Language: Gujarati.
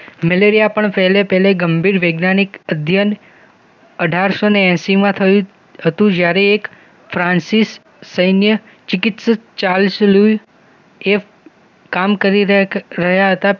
મેલેરિયા પણ પહલે પહલે ગંભીર વૈજ્ઞાનિક અધ્યયન અઢારસૌ ને એસીમાં થયું હતું જ્યારે એક ફ્રાન્સીસ સૈન્ય ચિકિત્સક ચાલસલો કામ કરી રહ્યા હતા